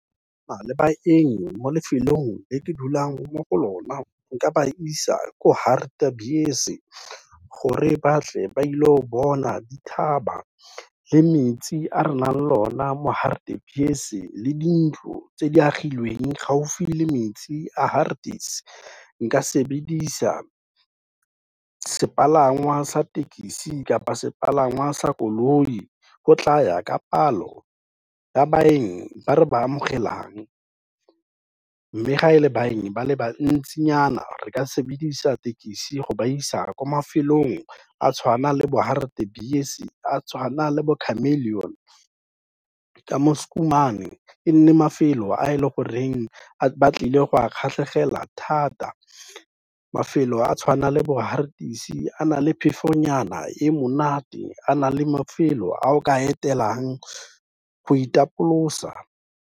Go nna le baeng mo lefelong le ke dulang mo go lona, nka ba isa ko Hartebees, gore batle ba ilo bona dithaba le metsi, a re nang lona mo Hartebees-e le dintlo tse di agilweng gaufi le metsi a Haarties. Nka sebedisa se palangwa sa thekisi kapa sepalangwa sa koloi, go tlaya ka palo ya baeng ba re ba amogelang. Mme, ga e le baeng ba le bantsinyana re ka sebedisa thekisi go ba isa kwa mafelong a tshwana le bo Haartebees, a tshwana le bo Chameleon ka mo Schoeman, e ne e le mafelo a e leng gore ba tlile go a kgatlhegela thata. Mafelo a tshwanang le bo Haarties, a na le phefonyana e monate, a na le mafelo a o ka etelang, go itapolosa..